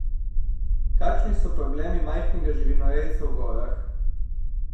Kakšni so problemi majhnega živinorejca v gorah?